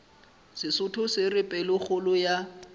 sesotho se re pelokgolo ya